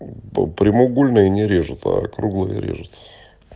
по прямоугольные не режут а круглые режут